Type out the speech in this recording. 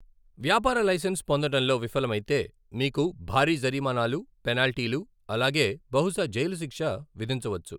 వ్యాపార లైసెన్స్ పొందడంలో విఫలమైతే మీకు భారీ జరిమానాలు, పెనాల్టీలు, అలాగే బహుశా జైలు శిక్ష విధించవచ్చు.